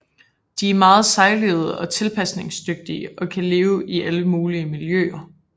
De er meget sejlivede og tilpasningsdygtige og kan leve i alle mulige miljøer